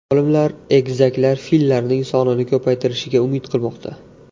Olimlar egizaklar fillarning sonini ko‘paytirishiga umid qilmoqda.